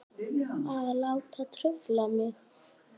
Að láta trufla mig.